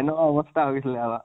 এনেকুৱা অবস্থা হৈছিলে আমাৰ